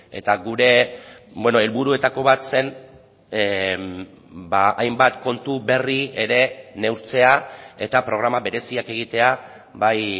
eta gure helburuetako bat zen hainbat kontu berri ere neurtzea eta programa bereziak egitea bai